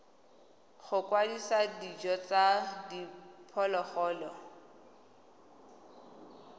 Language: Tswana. go kwadisa dijo tsa diphologolo